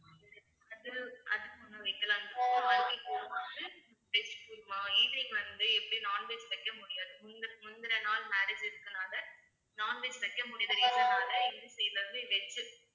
அது~அதுக்கு முன்ன வைக்கலாம் veg kurma evening வந்து எப்படியும் non veg வைக்க முடியாது முந்தி~ முந்தின நாள் marriage இருக்கறதுனால non veg வைக்க முடியாத reason னால எங்க side ல இருந்து veg